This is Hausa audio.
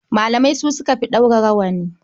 Malamai su suka fi ɗaura rawani.